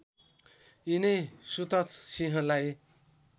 यिनै सुतथ सिंहलाई